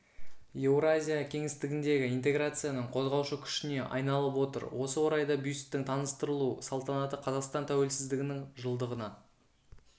еуразия кеңістігіндегі интеграцияның қозғаушы күшіне айналып отыр осы орайда бюсттің таныстырылу салтанаты қазақстан тәуелсіздігінің жылдығына